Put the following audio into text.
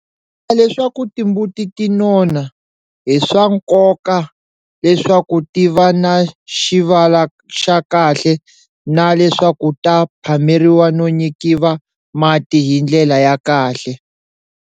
Ku endla leswaku timbuti ti nona, i swa nkoka leswaku ti va na xivala xa kahle na leswaku ta phameriwa no nyikiva mati hi ndlela ya kahle.